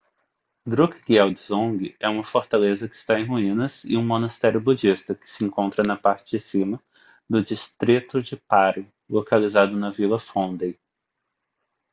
drukgyel dzong é uma fortaleza que está em ruínas e um monastério budista que se encontra na parte de cima do distrito de paro localizado na vila phondey